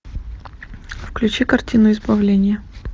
включи картину избавление